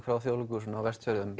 frá Þjóðleikhúsinu á Vestfjörðum